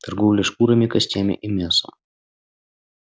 торговля шкурами костями и мясом